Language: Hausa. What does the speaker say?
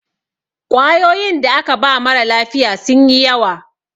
ƙwayoyinda aka ba mara lafiya sun yi yawa